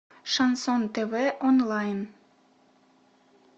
шансон тв онлайн